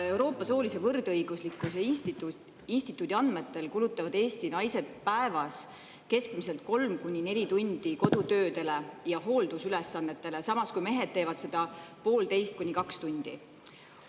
Euroopa soolise võrdõiguslikkuse instituudi andmetel kulutavad Eesti naised päevas keskmiselt 3–4 tundi kodutöödele ja hooldusülesannetele, samas kui mehed teevad seda 1,5–2 tundi.